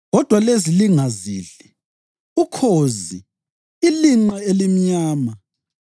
Kodwa lezi lingazidli: ukhozi, ilinqe elimnyama,